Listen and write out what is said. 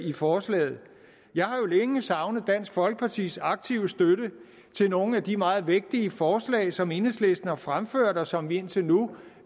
i forslaget jeg har jo længe savnet dansk folkepartis aktive støtte til nogle af de meget vigtige forslag som enhedslisten har fremsat og som vi indtil nu